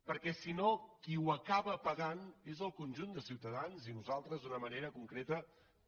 perquè si no qui ho acaba pagant és el conjunt de ciutadans i nosaltres d’una manera concreta també